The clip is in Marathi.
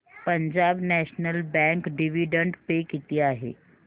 Punjab national bank dividend pay किती आहे